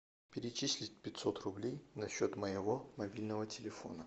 перечислить пятьсот рублей на счет моего мобильного телефона